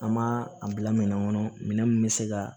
An m'a a bila minɛn kɔnɔ minɛn min bɛ se ka